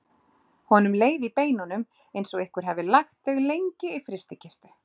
Honum leið í beinunum eins og einhver hefði lagt þau lengi í frystikistu.